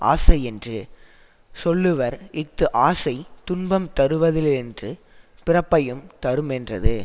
ஆசையென்று சொல்லுவர் இஃது ஆசை துன்பம் தருவதேயன்றி பிறப்பையும் தருமென்றது